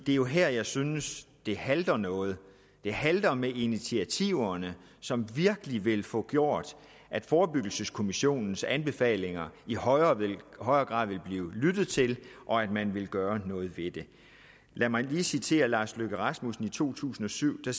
er jo her jeg synes det halter noget det halter med de initiativer som virkelig vil få gjort at forebyggelseskommissionens anbefalinger i højere grad vil blive lyttet til og at man vil gøre noget ved det lad mig lige citere lars løkke rasmussen fra to tusind og syv hvor